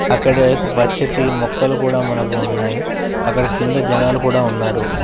అక్కడే ఒక పచ్చటి మొక్కలు కూడా మనకు ఉన్నాయి అక్కడ కింద జనాలు కూడా ఉన్నారు.